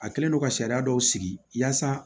A kɛlen don ka sariya dɔw sigi yaasa